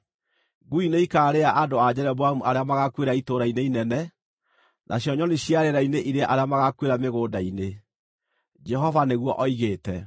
Ngui nĩikaarĩa andũ a Jeroboamu arĩa magaakuĩra itũũra-inĩ inene, nacio nyoni cia rĩera-inĩ irĩe arĩa magaakuĩra mĩgũnda-inĩ. Jehova nĩguo oigĩte!’